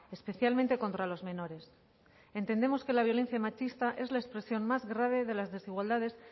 especialmente contra los menores entendemos que la violencia machista es la expresión más grave de las desigualdades